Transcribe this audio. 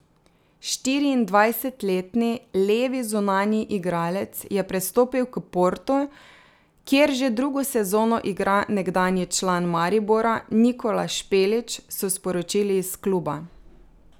Štiriindvajsetletni levi zunanji igralec je prestopil k Portu, kjer že drugo sezono igra nekdanji član Maribora Nikola Špelić, so sporočili iz kluba.